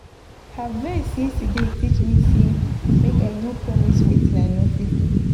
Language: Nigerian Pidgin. Her vex yesterday teach me sey make I no promise wetin I no fit do.